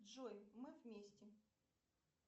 джой мы вместе